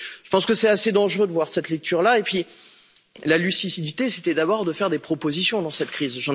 Je pense qu'il est assez dangereux de faire cette lecture là. De plus, la lucidité, c'était d'abord de faire des propositions dans cette crise.